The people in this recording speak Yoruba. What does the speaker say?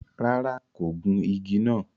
Ràrá, kò gùn ìgi nàá